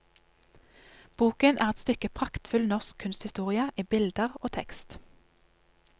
Boken er et stykke praktfull norsk kunsthistorie i bilder og tekst.